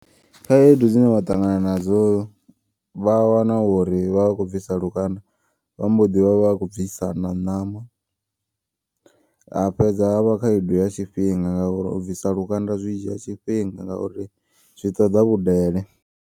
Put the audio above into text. Khaedu dzine vha ṱangana nadzo vha wana uri vhavha vho bvisa lukanda. Vhamboḓi vhavha vhakho bvisa na ṋama hafhedza havha khaedu ya tshifhinga. Ngauri ubvisa lukanda zwi dzhia tshifhinga ngauri zwiṱoḓa vhudele.